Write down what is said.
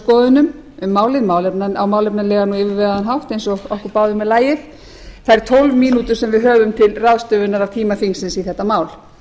skoðunum um málið á málefnalegan og yfirvegaðan hátt eins og okkur báðum er lagið þær tólf mínútur sem við höfum til ráðstöfunar af tíma þingsins í þetta mál